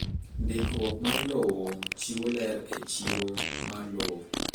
Ndikruok mar lowo chiwo ler e chiro mar lowo.